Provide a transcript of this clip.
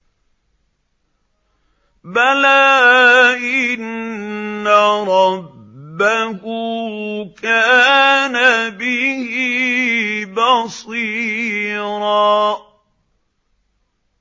بَلَىٰ إِنَّ رَبَّهُ كَانَ بِهِ بَصِيرًا